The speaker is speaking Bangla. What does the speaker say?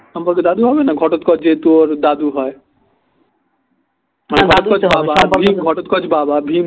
সম্পর্কে দাদু হবেনা ঘটোৎকচ যেহেতু ওর দাদু হয় ঘটোৎকচ বাবা ভীম